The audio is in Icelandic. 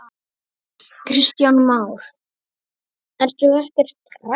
Kristján Már: Ertu ekkert hrædd?